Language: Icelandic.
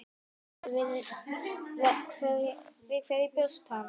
Við hverju bjóst hann?